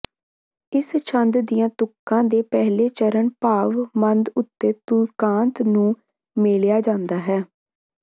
ਇਸ ਛੰਦ ਦੀਆਂ ਤੁਕਾਂ ਦੇ ਪਹਿਲੇ ਚਰਨ ਭਾਵ ਮੱਧ ਉੱਤੇ ਤੁਕਾਂਤ ਨੂੰ ਮੇਲਿਆ ਜਾਂਦਾ ਹੈ